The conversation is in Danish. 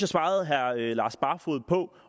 svarede herre lars barfoed